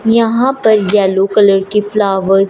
यहां पर yellow colour के फ्लावर --